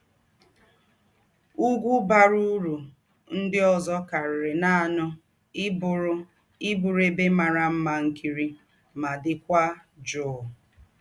Ùgwù̄ bàrà ūrù ńdị òzò kàríri nánị íbụ̀rù íbụ̀rù ēbè màrà mmà ńkírí mà dị̄kwà jụụ́.